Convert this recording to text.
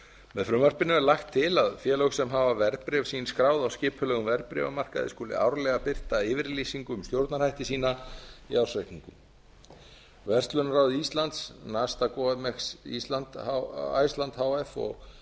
með frumvarpinu er lagt til að félög sem hafa verðbréf sín skráð á skipulegum verðbréfamarkaði skuli árlega birta yfirlýsingu um stjórnarhætti sína í ársreikningum verslunarráð íslands iceland h f